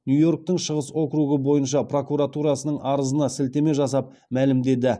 нью йорктің шығыс округі бойынша прокуратурасының арызына сілтеме жасап мәлімдеді